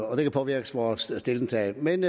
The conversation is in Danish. og det kan påvirke vores stillingtagen men